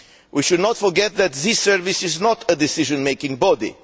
We should not forget that this service is not a decision making body.